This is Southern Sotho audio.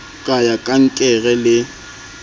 ka ya kankere le ho